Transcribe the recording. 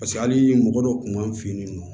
Paseke hali mɔgɔ dɔw kun b'an fɛ yen nɔ